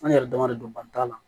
An yɛrɛ dama de don bani t'a la